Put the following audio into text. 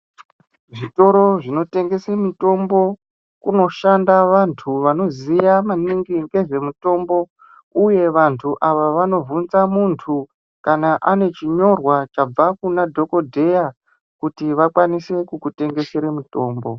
Zvitoro zvinotengese mitombo kunoshanda vantu vanoziya maningi ngezvemitombo uye vantu ava vanobvunza muntu kana ane chinyorwa chabva kunadhokodheya kuti vakwanise kukutengesera mutombo.